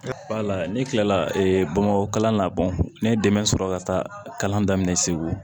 Wala ne kilala bamakɔ kalan na bɔn ne ye dɛmɛ sɔrɔ ka taa kalan daminɛ segu